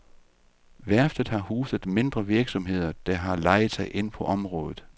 Værftet har huset mindre virksomheder, der har lejet sig ind på området.